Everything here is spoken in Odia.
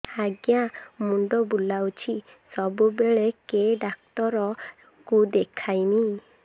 ଆଜ୍ଞା ମୁଣ୍ଡ ବୁଲାଉଛି ସବୁବେଳେ କେ ଡାକ୍ତର କୁ ଦେଖାମି